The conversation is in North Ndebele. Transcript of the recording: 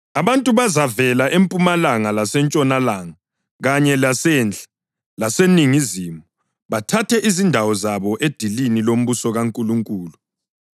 Abantu bazavela empumalanga lasentshonalanga kanye lasenhla laseningizimu, bathathe izindawo zabo edilini lombuso kaNkulunkulu.